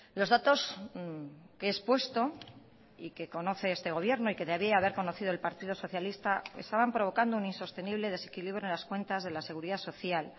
los datos que he expuesto y que conoce este gobierno y que debía haber conocido el partido socialista estaban provocando un insostenible desequilibrio en las cuentas de la seguridad social